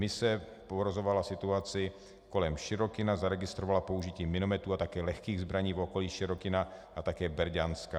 Mise pozorovala situaci kolem Šyrokyna, zaregistrovala použití minometů a také lehkých zbraní v okolí Šyrokyna a také Berďanska.